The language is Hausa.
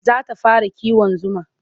Za ta fara kiwon zuma.